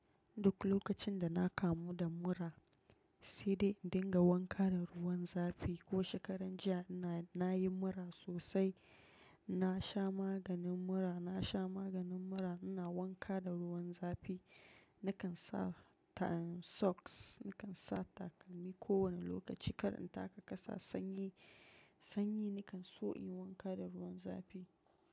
Duk lokacin da na kamu da mura, sai dai dinga wanka da ruwan zafi. Ko shekaran jiya na yi mura sosai, na sha maganin mura, na sha maganin mura, ina wanka da ruwan zafi. Nakan sa socks, nakan sa takalmi kowane lokaci kar in taka ƙasa sanyi. Sanyi nakan so in wanka da ruwan zafi.